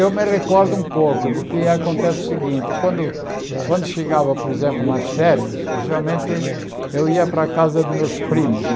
Eu me recordo um pouco, porque acontece o seguinte, quando quando chegava, por exemplo, nas férias, geralmente eu ia para a casa dos meus primos.